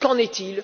Qu'en est il?